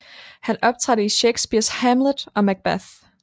Han optrådte i Shakespeares Hamlet og Macbeth